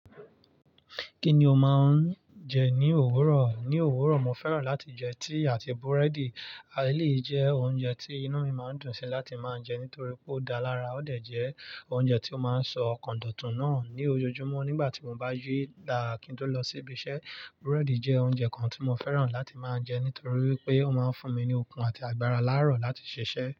Kí ni o máa ń jẹ ní òwúrọ̀? Ní òwúrọ̀, mo fẹ́ràn láti jẹ tíì àti búrẹ́dì. Ài lé jẹ́ oúnjẹ tí inú mi máa ń dùn sí láti máa jẹ nítorí pé ó dára lára ó dẹ̀ jẹ́ oúnjẹ tí ó máa ń ṣọ́ ọkàn dọ̀tùn náà ní ojoojúmọ́ nígbà tí mo bá yí láàá ki n to lọ sí ibi iṣẹ́. Búrẹ́dì jẹ́ oúnjẹ kan tí mo fẹ́ràn láti máa jẹ nítorí pé ó máa ń fún mi ní okun àti agbára láàárọ̀ láti ṣiṣẹ́.